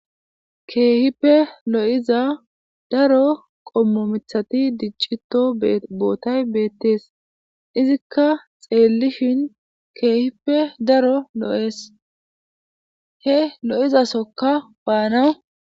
Keehippe lo'za daro qommo mithati diccito bootay beettees izikka xeellishin keehippe daro lo'es he lozasokka baanaw